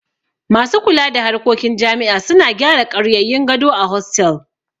Masu kula da harkokin jami'a suna gyara ƙaryayyun gado a hostel